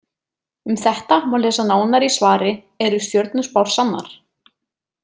Um þetta má lesa nánar í svari Eru stjörnuspár sannar?